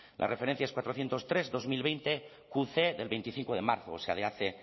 las referencias cuatrocientos tres veinte veinte cu ce del veinticinco de marzo o sea